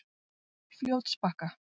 Fljótsbakka